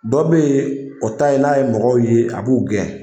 Dɔ bɛ yen o ta ye n'a ye mɔgɔw ye a b'u gɛn